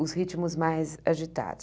Os ritmos mais agitados.